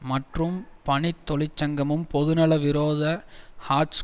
மற்றும் பணித் தொழிற்சங்கமும் பொதுநல விரோத ஹார்ட்ஸ்